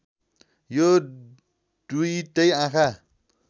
यो दुईटै आँखा